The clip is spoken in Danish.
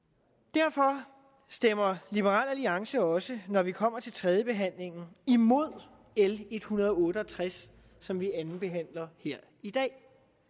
derfor stemmer liberal alliance også når vi kommer til tredjebehandlingen imod l en hundrede og otte og tres som vi andenbehandler her i dag